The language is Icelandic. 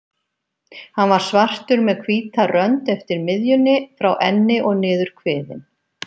Hann var svartur með hvíta rönd eftir miðjunni, frá enni og niður kviðinn.